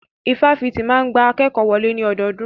Ifáfitì máa ń gba akékòó wọlé ní ọdọọdún.